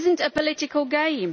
It is not a political game.